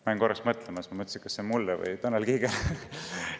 Jäin korraks mõtlema, et kas see on mulle või Tanel Kiigele.